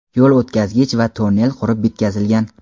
yo‘l o‘tkazgich va tonnel qurib bitkazilgan.